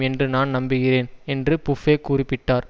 என்று நான் நம்புகிறேன் என்று புஃப்ஃபே குறிப்பிட்டார்